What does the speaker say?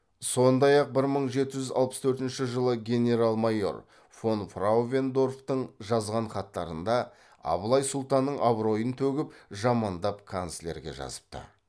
сондай ақ бір мың жеті жүз алпыс төртінші жылы генерал майор фонфрауендорфтың жазған хаттарында абылай сұлтанның абыройын төгіп жамандап канцлерге жазыпты